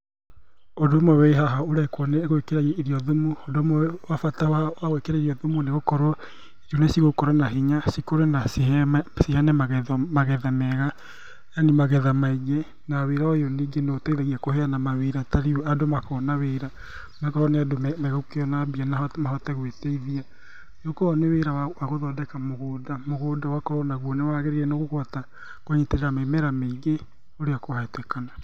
Ũndũ ũmwe wĩ haha ũrekwo nĩ gwĩkĩra irio thumu, ũndũ ũmwe wa bata wa wa gwĩkĩra irio thumu nĩ gũkorwo irio ici cigũkũra na hinya, cikũre na ciheme ciheyane magetho magetha mega, yani magetha maingĩ, na wĩra ũyũ ningĩ noũteihagia kũheyana mawĩra, tarĩu andũ makona wĩra, akorwo nĩ andũ me megũkĩona mbia mahote gũĩteithia, rĩu korwo nĩ wĩra wa gũthondeka mũgũnda, mũgũnda ũgakorwo naguo nĩ wagĩrĩire nĩ kũhota kũnyitĩrĩra mĩmera mĩingĩ ũrĩa kwahotekana.